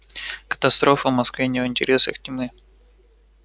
катастрофа в москве не в интересах тьмы